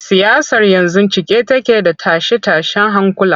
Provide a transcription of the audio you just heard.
Siyasar yanzu cike take da tashe-tashen hankula.